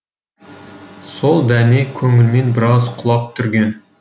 сол дәме көңілмен біраз құлақ түрген